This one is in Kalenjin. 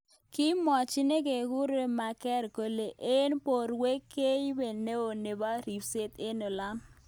Kimwachi nekekure Merker kolu eng borwek kiibe neo nebo ribset eng olotok.